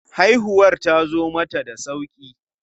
Haihuwar tazo mata da sauƙi.